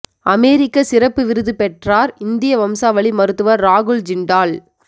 அமெரிக்க சிறப்பு விருது பெற்றார் இந்திய வம்சாவளி மருத்துவர் ராகுல் ஜிண்டால்